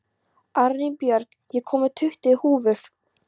Arinbjörg, ég kom með tuttugu húfur!